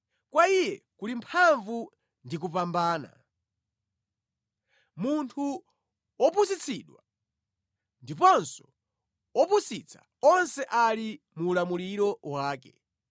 Kwa Iye kuli mphamvu ndi kupambana; munthu wopusitsidwa ndiponso wopusitsa onse ali mu ulamuliro wake.